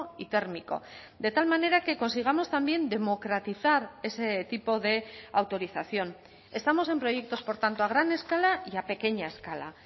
y térmico de tal manera que consigamos también democratizar ese tipo de autorización estamos en proyectos por tanto a gran escala y a pequeña escala